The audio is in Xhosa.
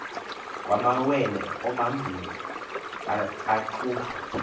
kumawele omabini aqhuba